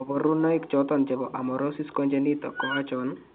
koborunaik choton chebo Amaurosis congenita ko achon ?